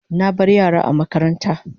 Na bar yara a makaranta